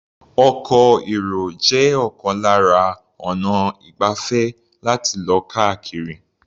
Ọkọ̀-èrò jẹ́ ọ̀kan lára ọnà ìgbafẹ́ láti lọ káàkiri.